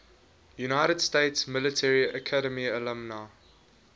united states military academy alumni